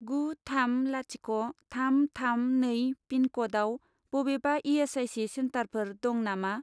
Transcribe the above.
गु थाम लाथिख' थाम थाम नै पिनक'डआव बबेबा इ.एस.आइ.सि. सेन्टारफोर दं नामा?